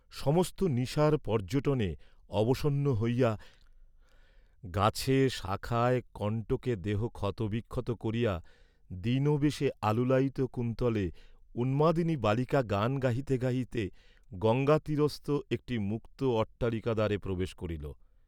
সমস্ত নিশার পর্য্যটনে অবসন্ন হইয়া, গাছে, শাখায়, কণ্টকে দেহ ক্ষতবিক্ষত করিয়া দীনবেশে আলুলায়িত কুন্তলে উন্মাদিনী বালিকা গান গাহিতে গাহিতে গঙ্গাতীরস্থ একটি মুক্ত অট্টালিকাদ্বারে প্রবেশ করিল।